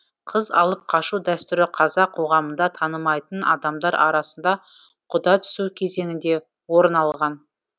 қыз алып қашу дәстүрі қазақ қоғамында танымайтын адамдар арасында құда түсу кезеңінде орын алған